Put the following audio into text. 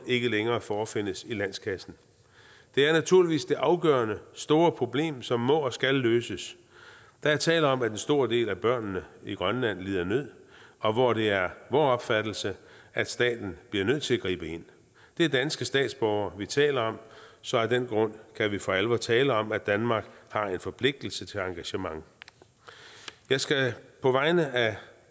ikke længere forefindes i landskassen det er naturligvis det afgørende store problem som må og skal løses der er tale om at en stor del af børnene i grønland lider nød og det er vor opfattelse at staten bliver nødt til at gribe ind det er danske statsborgere vi taler om så af den grund kan vi for alvor tale om at danmark har en forpligtelse til engagement jeg skal på vegne af